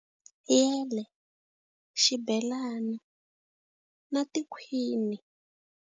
Yele, xibelani, na tikhwini.